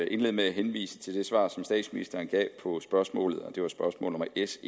indlede med at henvise til det svar som statsministeren gav på spørgsmålet og det var spørgsmål nummer s